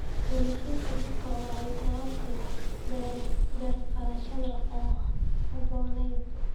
Xaalufinta dhulka oo ay sababto beer-falasho aan habboonayn.